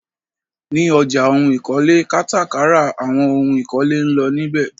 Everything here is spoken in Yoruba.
Ní ọjà ohun ìkọ́lé, kátà kárà àwọn ohún ìkọ́lé ńlọ níbẹ.